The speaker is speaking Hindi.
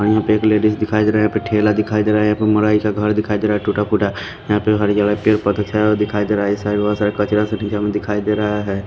यहां पे एक लेडीज दिखाई दे रहा है यहां पे ठेला दिखाई दे रहा है यहां पे मराई का घर दिखाई दे रहा है टूटा फूटा यहां पे हरिया पे बाकी सब दिखाई दे रहा है कचरा सा में दिखाई दे रहा है।